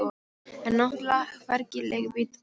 En náttúrlega hvergi leigubíl að fá.